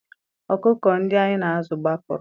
Ọkụkọ ndị anyị na-azụ gbapụrụ